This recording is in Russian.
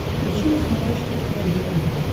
включи на смотрешке ржд тв